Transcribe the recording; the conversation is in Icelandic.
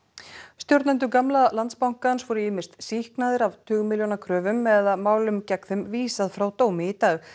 stjórnendur gamla Landsbankans voru ýmist sýknaðir af tugmilljóna kröfum eða málum gegn þeim vísað frá dómi í dag